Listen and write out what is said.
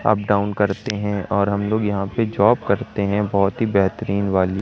Up down करते हैं और हम लोग यहां पे जॉब करते हैं बहुत ही बेहतरीन वाली।